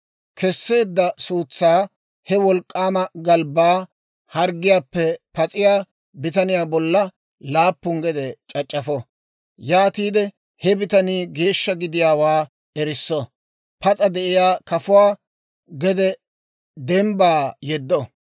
Kesseedda suutsaa he wolk'k'aama galbbaa harggiyaappe pas'iyaa bitaniyaa bolla laappu gede c'ac'c'afo; yaatiide he bitanii geeshsha gidiyaawaa erisso; pas'a de'iyaa kafuwaa gede dembbaa yeddo.